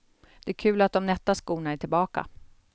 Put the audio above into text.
Det är kul att de nätta skorna är tillbaka.